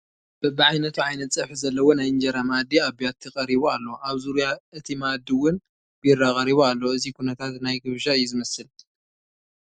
በቢዓይነቱ ዓይነት ፀብሒ ዘለዎ ናይ እንጀራ መኣዲ ኣብ ቢያቲ ቀሪቡ ኣሎ፡፡ ኣብ ዙርያ እቲ መኣዲ እውን ቢራ ቀሪቡ ኣሎ፡፡ እዚ ኩነታት ናይ ግብዣ እዩ ዝመስል፡፡